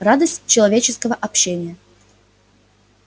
радость человеческого общения